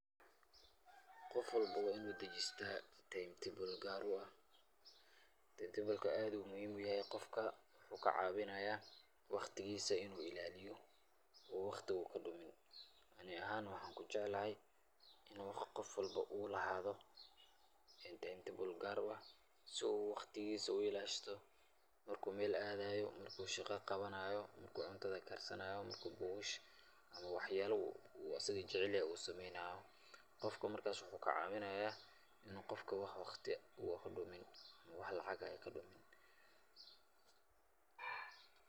Qof walba waa inu dajistaa timetable gaar u ah taimtebolka aad ayu muhim yahay qofka, wuxuu kacaawinaya waqtigiisa inu ilaaliyo oo waqtiga uu kadhumin, ani ahan waxan kujeclaahay inu qof walbo uu lahaado timetable gaar u ah su u waqtigiisa u ilaashato marku Mel aadayo, marku shaqa qabanaayo, marku cunta karsanayo ,marku bugasha ama wax yaba uu asaga jecelyahay uu sameeynayo. Qofka markas wuxuu kacaawinaya inu wax waqti ah uun kadhumin ama wax lacag ah ay kadhumin